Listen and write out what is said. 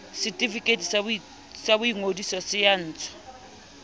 setefikeiti sa boingodiso se ntshwa